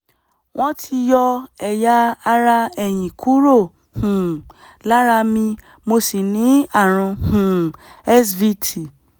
wọ́n ti yọ ẹ̀yà ara ẹ̀yìn kúrò um lára mi mo sì ní ààrùn um svt